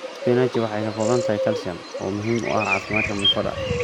Spinachi waxay ka kooban tahay kalsiyum, oo muhiim u ah caafimaadka mifooda.